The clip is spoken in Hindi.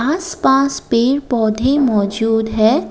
आसपास पेड़ पौधे मौजूद है।